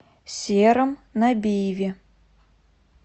сером набиеве